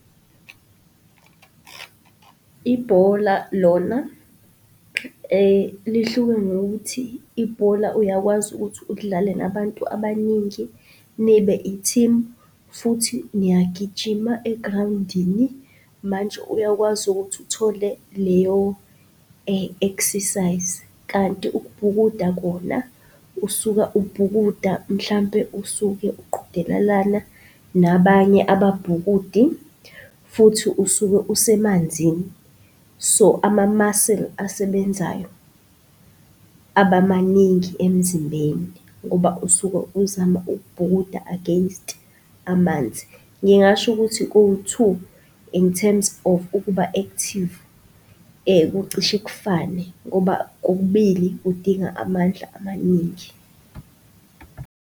Ibhola lona lihluke ngokuthi, ibhola uyakwazi ukuthi ulidlale nabantu abaningi nibe i-team futhi niyagijima egrawundini, manje uyakwazi ukuthi uthole leyo exercise. Kanti ukubhukuda kona usuka ukubhukuda mhlampe usuke uqhudelelana nabanye ababhukudi futhi usuke usemanzini. So ama-muscle asebenzayo abamaningi emzimbeni ngoba usuke uzama ukubhukuda against amanzi. Ngingasho ukuthi kowu-two in terms of ukuba-active kucishe kufane ngoba kokubili kudinga amandla amaningi.